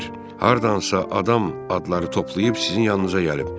Hardansa adam adları toplayıb sizin yanınıza gəlib.